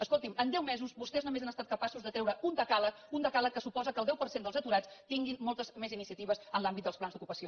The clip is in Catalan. escolti’m en deu mesos vostès només han estat capaços de treure un decàleg un decàleg que suposa que el deu per cent dels aturats tinguin moltes més iniciatives en l’àmbit dels plans d’ocupació